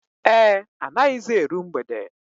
Ee, anaghịzi eru mgbede